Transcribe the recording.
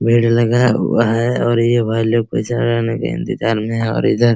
भीड़ लगा हुआ है और ये भाईलोग पैसा लेने के इंतजार में है और इधर --